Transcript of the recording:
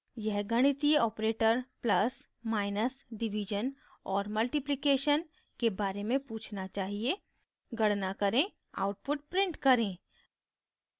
यह गणितीय operator plus + minus division/और multiplication * के बारे में पूछना चाहिए गणना करें output print करें